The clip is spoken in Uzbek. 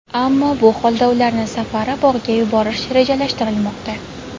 Ammo bu holda ularni safari-bog‘ga yuborish rejalashtirilmoqda.